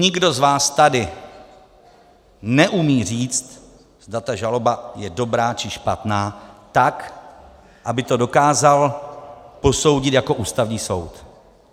Nikdo z vás tady neumí říct, zda ta žaloba je dobrá, či špatná, tak, aby to dokázal posoudit jako Ústavní soud.